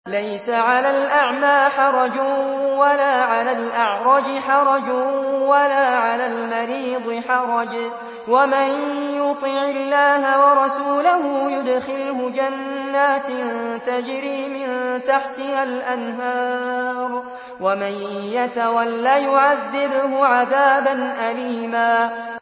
لَّيْسَ عَلَى الْأَعْمَىٰ حَرَجٌ وَلَا عَلَى الْأَعْرَجِ حَرَجٌ وَلَا عَلَى الْمَرِيضِ حَرَجٌ ۗ وَمَن يُطِعِ اللَّهَ وَرَسُولَهُ يُدْخِلْهُ جَنَّاتٍ تَجْرِي مِن تَحْتِهَا الْأَنْهَارُ ۖ وَمَن يَتَوَلَّ يُعَذِّبْهُ عَذَابًا أَلِيمًا